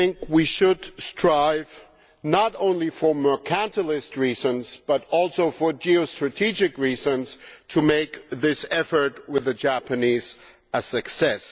We should strive, not only for mercantilist reasons but also for geostrategic reasons, to make this effort with the Japanese a success.